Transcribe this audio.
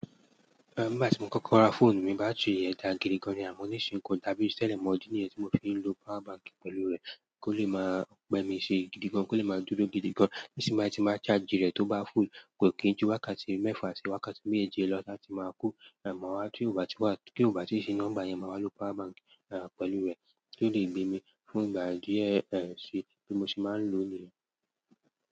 Ehn, nígbà tí mo kọ́kọ́ ra fóònù mi, báàtìri rẹ̀ dà gidi gan ni àmọ́ ní ìsìn ko dàbí tìtẹ̀lẹ̀ mọ idi ni yẹ́n tí mo fi ń lo power bank pẹ̀lú rẹ̀ kó lè máa pẹ́ mi ṣe gidi gan, kó lè máa dúró gidi gan. Ní sìn bai tín báa charge rẹ̀ tó bá full, kò kí ju wákàtí mẹ́fà sí wákàtí méje lọ la tí máa kó, eh, mọ́ wa tó ì bá ti wá, kó ì bá ti ṣe nọ́mbà yẹn máa lọ power bank, eh, pẹ̀lú rẹ̀ kó lè gbé mi fún ìgbà díẹ̀, eh, sí bí mo ṣe máa lòò yẹ̀n.